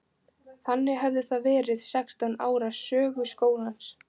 Þannig hefði það verið sextán ára sögu skólans.